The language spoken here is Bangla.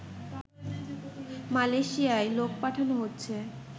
মালয়েশিয়ায় লোক পাঠানো হচ্ছে